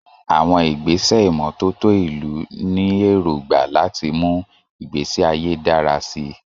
Àwọn ìgbésẹ̀ ìmọ́tótó ìlú ní èrògbà láti mú ìgbésí ayé dára sí i.